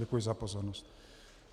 Děkuji za pozornost.